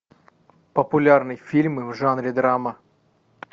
популярные фильмы в жанре драма